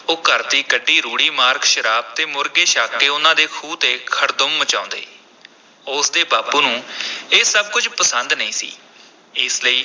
ਉਹ ਘਰ ਦੀ ਕੱਢੀ ਰੂੜੀ ਮਾਰਕ ਸ਼ਰਾਬ ਤੇ ਮੁਰਗੇ ਛਕ ਕੇ ਉਨ੍ਹਾਂ ਦੇ ਖੂਹ ’ਤੇ ਖੜਦੁੰਮ ਮਚਾਉਂਦੇ ਉਸ ਦੇ ਬਾਪੂ ਨੂੰ ਇਹ ਸਭ ਕੁਝ ਪਸੰਦ ਨਹੀਂ ਸੀ, ਇਸ ਲਈ